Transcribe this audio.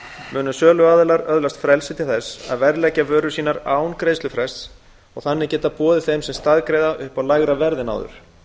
munu söluaðilar öðlast frelsi til að verðleggja vörur sínar án greiðslufrests og þannig geta boðið þeim sem staðgreiða upp á lægra verð en áður